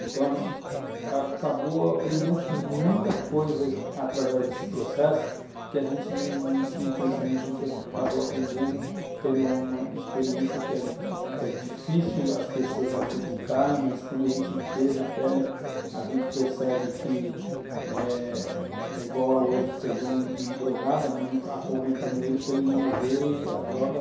Então a gente acabou aprendendo com muita coisa através desse processo, que a gente não tinha conhecimento, a gente acabou aprendendo, tendo uma experiência que é difícil as pessoas acreditarem, mas quando a gente vê na pele, a gente percebe que é é igual a hoje, você vê um drogado, a mãe acorrentando ele para ele não morrer e as drogas,